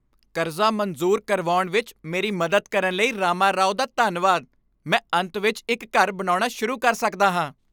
ਕਰਜ਼ਾ ਮਨਜ਼ੂਰ ਕਰਵਾਉਣ ਵਿੱਚ ਮੇਰੀ ਮਦਦ ਕਰਨ ਲਈ ਰਾਮਾਰਾਓ ਦਾ ਧੰਨਵਾਦ। ਮੈਂ ਅੰਤ ਵਿੱਚ ਇੱਕ ਘਰ ਬਣਾਉਣਾ ਸ਼ੁਰੂ ਕਰ ਸਕਦਾ ਹਾਂ।